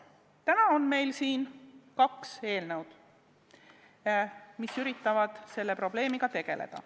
Täna on meil ees kaks eelnõu, mis üritavad selle probleemiga tegeleda.